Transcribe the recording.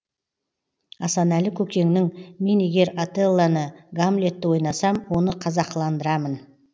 асанәлі көкеңнің мен егер отеллоны гамлетті ойнасам оны қазақыландырамын